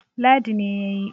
Ladi ne ya yi